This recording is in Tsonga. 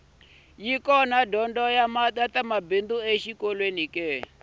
yi kona dyondzo ya ta mabindzu exikolweni